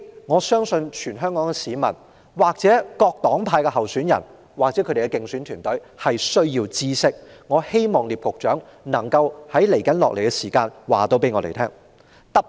我相信這是全港市民、各黨派候選人及其競選團隊需要知道的事，我希望聶局長稍後能夠告訴我們。